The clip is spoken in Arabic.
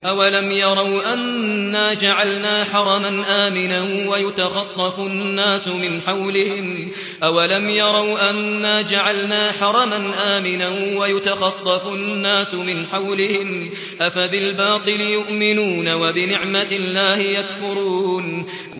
أَوَلَمْ يَرَوْا أَنَّا جَعَلْنَا حَرَمًا آمِنًا وَيُتَخَطَّفُ النَّاسُ مِنْ حَوْلِهِمْ ۚ أَفَبِالْبَاطِلِ يُؤْمِنُونَ وَبِنِعْمَةِ اللَّهِ يَكْفُرُونَ